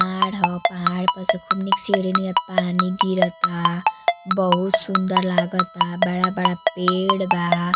पहाड़ ह पहाड़ प से खूब नीक सीढ़ी नियर पानी गिरता। बहुत सुंदर लागता। बड़ा बड़ा पेड़ बा।